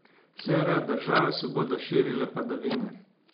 S severa države se bodo širile padavine.